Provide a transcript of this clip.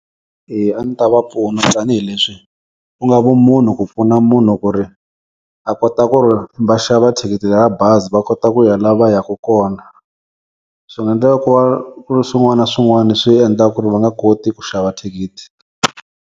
Eya a ni ta va pfuna tanihileswi ku nga vumunhu ku pfuna munhu ku ri a kota ku ri va xava thikithi ra bazi va kota ku ya la va yaku kona. Swi nga endleka ku va ku ri swin'wana na swin'wani swi endlaka ku ri va nga koti ku xava thikithi.